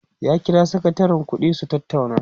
ya kira sakatarin ƙuɗi su tattauna